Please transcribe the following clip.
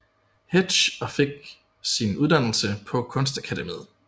Hetsch og fik sin uddannelse på Kunstakademiet